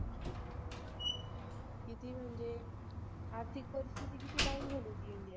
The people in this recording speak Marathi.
किती म्हणजे आर्थिक परिस्थिति किती down झाली होती INDIA